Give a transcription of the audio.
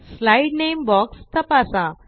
slide नामे box तपासा